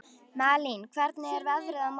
Malín, hvernig er veðrið á morgun?